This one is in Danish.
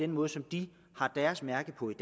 måde som de mærker på i